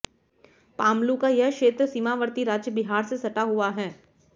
पालमू का यह क्षेत्र सीमावर्ती राज्य बिहार से सटा हुआ है